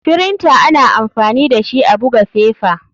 Firinta ana amfani dashi a buga fefa.